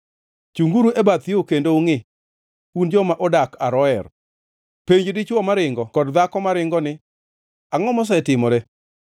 Chunguru e bath yo kendo ungʼi, un joma odak Aroer. Penj dichwo maringo kod dhako maringo, ni, Angʼo mosetimore?